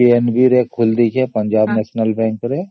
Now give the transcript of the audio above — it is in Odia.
ଆଉ ମୁଁ PNB ରେ account ଖୋଲିଦେଇଛି